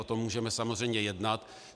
O tom můžeme samozřejmě jednat.